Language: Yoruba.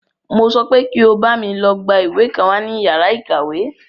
Mo sọ pé kí o bámi lọ gbá ìwé kan wá ní yàrá ìkàwé!